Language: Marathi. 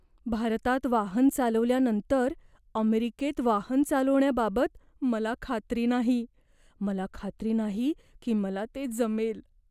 भारतात वाहन चालवल्यानंतर अमेरिकेत वाहन चालवण्याबाबत मला खात्री नाही. मला खात्री नाही की मला ते जमेल.